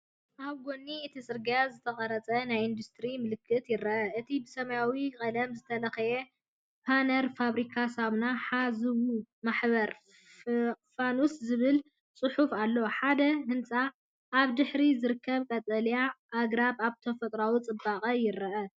ኣብ ጎኒ እቲ ጽርግያ ዝተቐርጸ ናይ ኢንዱስትሪ ምልክት ይርአ። እቲ ብሰማያዊ ቀለም ዝተለኽየ ፓነር “ፋብሪካ ሳሙና ሓ.ዝ.ው. ማሕበር ፋኖስ” ዝብል ጽሑፍ ኣሎ። ሓደ ህንጻን ኣብ ድሕሪት ዝርከቡ ቀጠልያ ኣግራብን ኣብቲ ተፈጥሮኣዊ ጽባቐ ይረኣዩ።